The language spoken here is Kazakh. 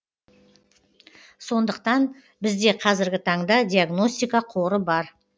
сондықтан бізде қазіргі таңда диагностика қоры бар